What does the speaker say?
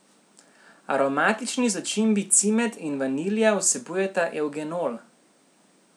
Aromatični začimbi cimet in vanilja vsebujeta evgenol.